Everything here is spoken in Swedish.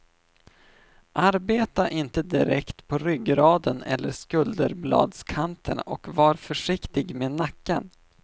Arbeta inte direkt på ryggraden eller skulderbladskanterna och var försiktigt med nacken.